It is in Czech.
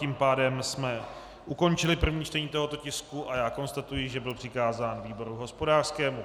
Tím pádem jsme ukončili první čtení tohoto tisku a já konstatuji, že byl přikázán výboru hospodářskému.